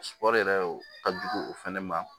yɛrɛ o ka jugu o fɛnɛ ma